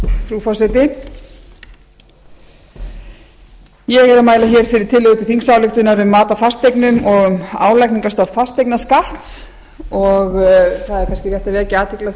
frú forseti ég er að mæla fyrir tillögu til þingsályktunar um mat á fasteignum og álagningarstofn fasteignaskatts og það er kannski rétt að vekja athygli á því